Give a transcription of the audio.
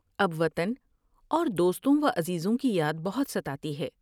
اب وطن اور دوستوں وعزیزوں کی یاد بہت ستاتی ہے ۔